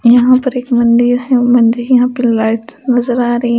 यहां पर एक मंदिर है मंदिर यहां पे लाइट नजर आ रही है ।